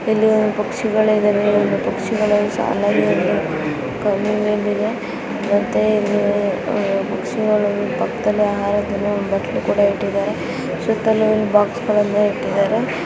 ಇಲ್ಲಿ ಪಕ್ಷಿಗಳೆಲ್ಲಾ ಇವೆ ಪಕ್ಷಿಗಳೆಲ್ಲಾ ಸಾಲಾಗಿ ಇವೆ ಕೆಡಿಮೆ ಬೆಲೆ ಮತ್ತೆ ಇಲ್ಲಿ ಪಕ್ಷಿಗಳಿಗೆ ಪಕ್ಕದಲ್ಲೇ ಆಹಾರದ ಬಟ್ಟಲು ಕೂಡ ಇಟ್ಟಿದ್ದಾರೆ ಸುತ್ತಲೂ ಬಾಕ್ಸ್ ಗಳನ್ನು ಇಟ್ಟಿದ್ದಾರೆ.